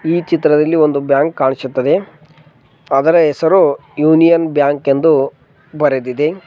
ಈ ಚಿತ್ರದಲ್ಲಿ ಒಂದು ಬ್ಯಾಂಕ್ ಕಾಣಿಸುತ್ತದೆ ಅದರ ಹೆಸರು ಯೂನಿಯನ್ ಬ್ಯಾಂಕ್ ಎಂದು ಬರೆದಿದೆ.